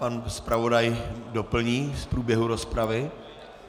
Pan zpravodaj doplní z průběhu rozpravy.